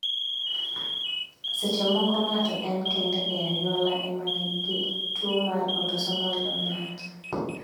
Seche moko ng'ato en kende e anyuola emanigi tuo mar autosomal dominant